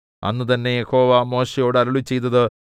അന്ന് തന്നെ യഹോവ മോശെയോട് അരുളിച്ചെയ്തത്